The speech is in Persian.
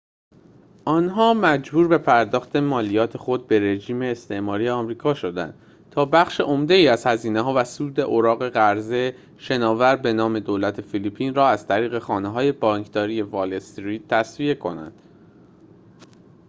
آنها مجبور به پرداخت مالیات خود به رژیم استعماری آمریکا شدند تا بخش عمده‌ای از هزینه‌ها و سود اوراق قرضه شناور به نام دولت فیلیپین را از طریق خانه‌های بانکداری وال استریت تسویه کنند